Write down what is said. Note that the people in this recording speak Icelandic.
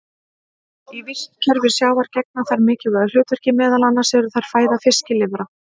Í vistkerfi sjávar gegna þær mikilvægu hlutverki, meðal annars eru þær fæða fiskilirfa.